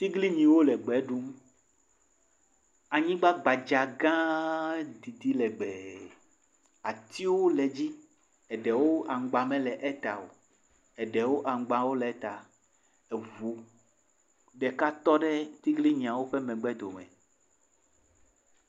Atiglinyiwo le gbe ɖum. Anyigba gbadza gã didi legbe. Atiwo le edzi, eɖewo aŋgba mele eta o, eɖewo aŋgbawo le eta. Eŋu ɖeka tɔ ɖe atiglinyiawo ƒe megbe dome.